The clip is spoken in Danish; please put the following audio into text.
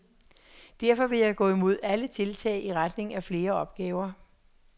Derfor vil jeg gå imod alle tiltag i retning af flere opgaver.